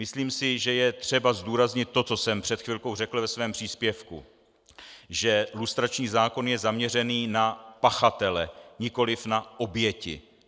Myslím si, že je třeba zdůraznit to, co jsem před chvilkou řekl ve svém příspěvku - že lustrační zákon je zaměřený na pachatele, nikoliv na oběti.